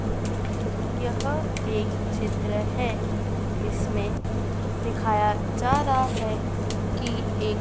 यह एक चित्र है। इसमें दिखाया जा रहा है कि एक--